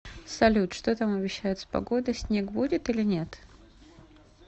салют что там обещают с погодой снег будет или нет